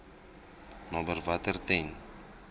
naby water ten